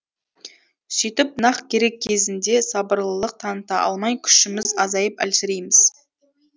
сөйтіп нақ керек кезінде сабырлылық таныта алмай күшіміз азайып әлсірейміз